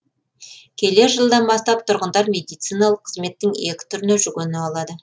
келер жылдан бастап тұрғындар медициналық қызметтің екі түріне жүгіне алады